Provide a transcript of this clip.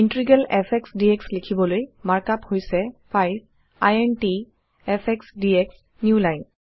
integral f x d x লিখিবলৈ markup হৈছে5 int FS DX newline